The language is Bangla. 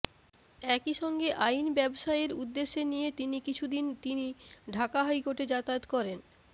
একই সঙ্গে আইন ব্যবসায়ের উদ্দেশ্যে নিয়ে তিনি কিছু দিন তিনি ঢাকা হাই কোর্টে যাতায়াত করেন